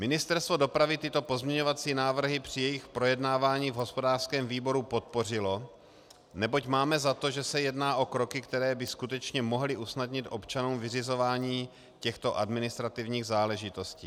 Ministerstvo dopravy tyto pozměňovací návrhy při jejich projednávání v hospodářském výboru podpořilo, neboť máme za to, že se jedná o kroky, které by skutečně mohly usnadnit občanům vyřizování těchto administrativních záležitostí.